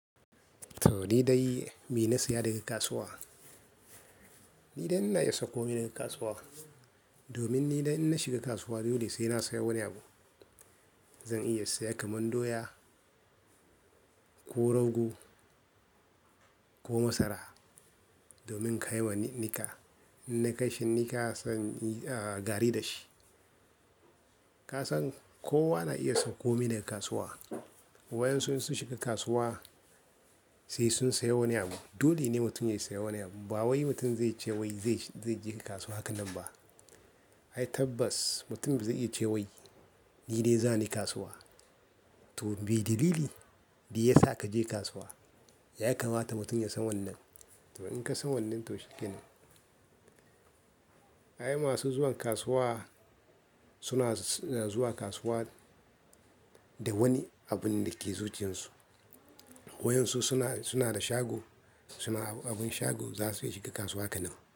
To ni dai me na saya daga kasuwa? Ni dai ina iya sau ko mi daga kasuwa. Domin ni dai in na shiga kasuwa dole sai na sayo wani abu. Zan iya sayar kaman doya ko rago ko masara domin kai wa ni nika. Inna kai shi nika sai in inyi ah, gari da shi. Ka san kowa na iya sauko mi daga kasuwa. Wayan su in sun shiga kasuwa sai sun sayo wani abu. Dole ne mutum ya saya wani abu. Ba wai mutum zai ce wai zai je kasuwa haka nan ba. Ai tabbas mutum bazai iya ce wai ni dai zani kasuwa. To me dalili da ya sa ka je kasuwa? Yaya kamata mutum ya san wannan? To in ka san wannan to shi kenan. Ai masu zuwa kasuwa suna ah zuwa kasuwa da wani abun da ke zuciyansu. Wayan su suna, suna da shago, suna abin shago za su iya shiga kasuwa haka nan.